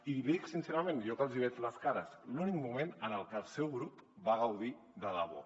i l’hi dic sincerament jo que els hi veig les cares l’únic moment en què el seu grup va gaudir de debò